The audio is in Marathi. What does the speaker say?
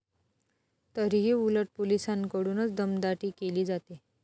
तरीही उलट पोलिसांकडूनच दमदाटी केली जाते.